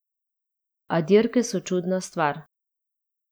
A dirke so čudna stvar.